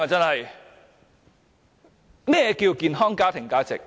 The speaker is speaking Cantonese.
何謂健康家庭價值？